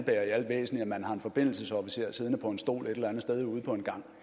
man har en forbindelsesofficer siddende på en stol et eller andet sted ude på en gang